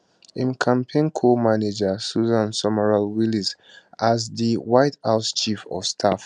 im campaign comanager susan summerall wiles as di white house chief of staff